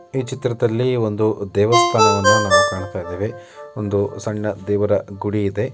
ಈ ಚಿತ್ರದಲ್ಲಿ ಒಂದು ದೇವಸ್ಥಾನವನ್ನು ನಾವು ಕಾಣ್ತಾ ಇದ್ದೇವೆ ಒಂದು ಸಣ್ಣ ದೇವರ ಗುಡಿ ಇದೆ.